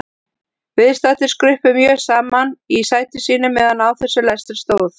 Viðstaddir skruppu mjög saman í sætum sínum meðan á þessum lestri stóð.